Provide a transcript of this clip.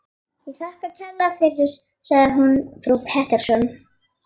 Ég þakka kærlega fyrir, sagði hún við frú Pettersson.